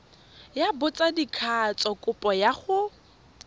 ya botsadikatsho kopo ya go